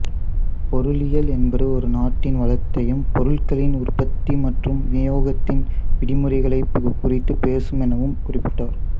பொருளியல் என்பது ஒரு நாட்டின் வளத்தையும் பொருள்களின் உற்பத்தி மற்றும் வினியோகத்தின் விதிமுறைகளைக் குறித்துப் பேசும் எனவும் குறிப்பிட்டாா்